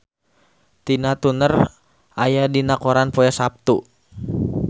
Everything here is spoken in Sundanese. Tina Turner aya dina koran poe Saptu